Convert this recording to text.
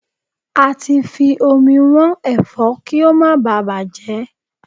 Ati fi omi wọ́n Ẹ̀fọ́ kí ó má báà bàjẹ́.